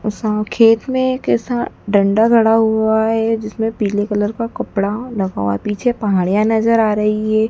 उस खेत में किसान डंडा गड़ा हुआ है जिसमें पीले कलर का कपड़ा लगा हुआ है पीछे पहाड़िया नजर आ रही है।